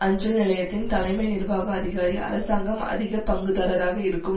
அஞ்சல் நிலையத்தின் தலைமை நிர்வாக அதிகாரி அரசாங்கம் அதிக பங்குதாரராக இருக்கும்